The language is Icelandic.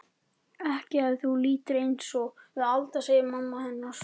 Ekki ef þú lifir einsog við Alda, segir mamma hennar.